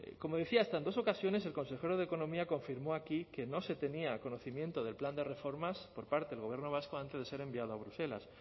como decía hasta en dos ocasiones el consejero de economía confirmó aquí que no se tenía conocimiento del plan de reformas por parte del gobierno vasco antes de ser enviado a bruselas